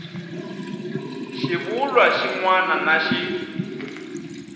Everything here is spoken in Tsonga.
xivulwa xin wana na xin